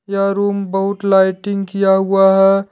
यह रूम बहुत लाइटिंग किया हुआ है।